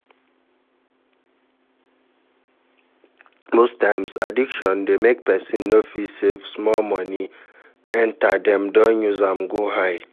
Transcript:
Most times addiction dey make person no fit save, small money enter dem don use am go high